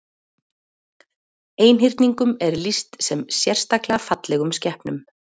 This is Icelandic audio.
Einhyrningum er lýst sem sérstaklega fallegum skepnum.